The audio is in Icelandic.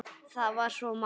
Það var svo margt.